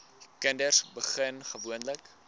kinders begin gewoonlik